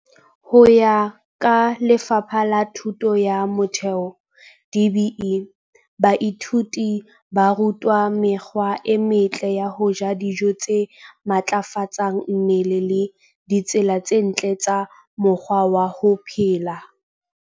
Ho ya ka Lefapha la Thuto ya Motheo DBE, baithuti ba rutwa mekgwa e metle ya ho ja dijo tse matlafatsang mmele le ditsela tse ntle tsa mokgwa wa ho phela.